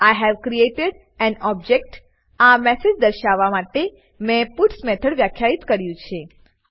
I have created an object આ message દર્શાવવા માટે મેં પટ્સ મેથડ વ્યાખ્યિત કર્યું છે